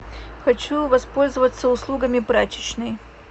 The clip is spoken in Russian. хочу воспользоваться услугами прачечной